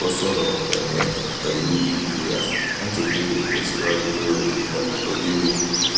ó sọrọ pèlé pẹlú ìgboyà láti kéde ìtẹsíwájú lórí ọnà tó lewu